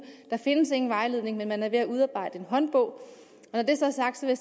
der findes ingen vejledning men man er ved at udarbejde en håndbog når det så er sagt vil